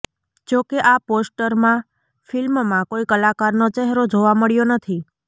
જો કે આ પોસ્ટરમાં ફિલ્મમાં કોઇ કલાકારનો ચહેરો જોવા મળ્યો નથી